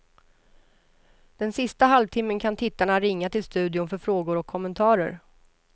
Den sista halvtimmen kan tittarna ringa till studion för frågor och kommentarer.